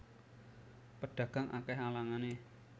Pedagang akeh alangane